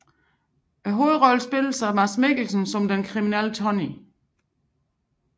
Hovedrollen spilles af Mads Mikkelsen som den kriminelle Tonny